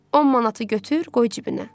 10 manatı götür, qoy cibinə.